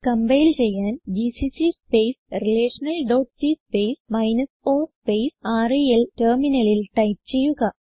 compile ചെയ്യാൻ GCC space relational dot c space o space rel ടെർമിനലിൽ type ചെയ്യുക